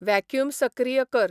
vacuum सक्रीय कर